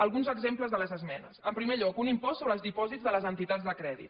alguns exemples de les esmenes en primer lloc un impost sobre els dipòsits de les entitats de crèdit